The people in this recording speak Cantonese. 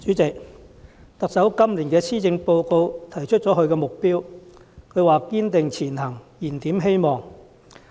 主席，特首在今年的施政報告提出了她的目標，是"堅定前行燃點希望"。